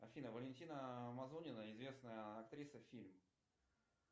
афина валентина мазунина известная актриса фильм